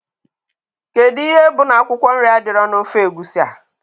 Kedụ ihe bụ na akwụkwọ nri adịrọ na ofe Egusi a?